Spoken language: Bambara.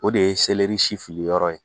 O de ye si fili yɔrɔ ye.